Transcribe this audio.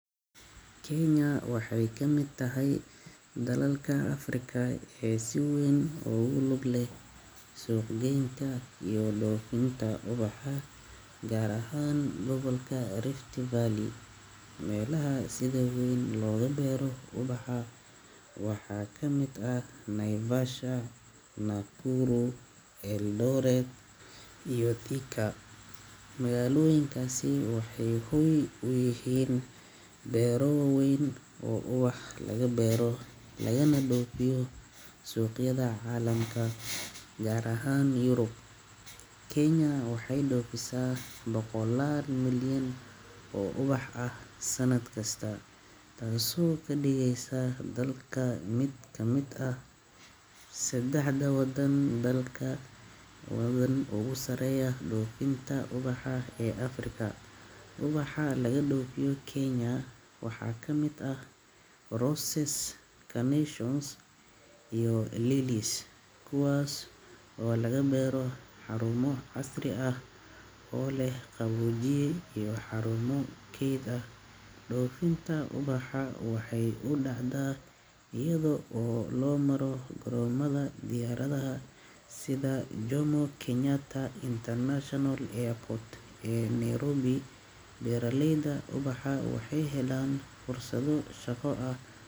Kenya waxay kam8d tahay dalalka Afrika ee si weyn ogu luglu leh suuq geynta iyo dhofinta uwaxa gaar ahan gobolka rift Valley, melaha si weyn loga beeraha uwaxa waxa kamid ah ,naivasha, nakuru l,eldiret iyo thika magalooyinkas waxay hoy uyihiin beeroyin waweyn oo uwaxa laga beero laganao dhoofiyo suqyada caalamka gaar ahan yurub Kenya waxay dhoofisa boqolal milyan oo uwaxa ah sanad kista, taaso kadhigeysa dalka mid kamid ah sedexda wadan ogu saaraya dhoofinta uwaxa ee Afrika, uwaxa laga dhoofiya kenya waxa kamid ah roses carnations iyo lillies, kuwaas oo laga beero xarumo casri ah oo leh qabojiye iyo xarumo ked ah, dhoorfinta ubuxuu waxay u dhacdaa, ayado loo maro garomaha diyaaradaha sida jomo kenyatta International Airport ee nairobi, beeraleyda uwaxa waxay helan fursado shaqa ah.